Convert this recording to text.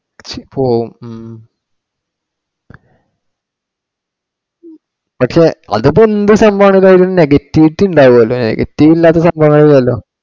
പക്ഷെ പോവും ഉം പക്ഷെ അത് ഇപ്പൊ എന്ത് സംഭവമാണെങ്കിലും അതിനു negativity ഉണ്ടാവുല്ലോ. Negative ഇല്ലാത്ത സംഭവങ്ങളൊന്നും ഇല്ലല്ലോ.